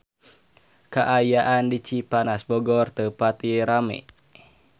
Kaayaan di Cipanas Bogor teu pati rame